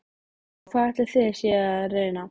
Og hvað ætlið þið séuð að reyna?